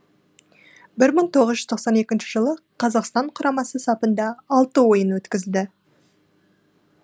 бір мың тоғыз жүз тоқсан екінші жылы қазақстан құрамасы сапында алты ойын өткізді